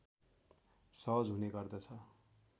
सहज हुने गर्दछ